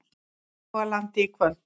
Hálogalandi í kvöld.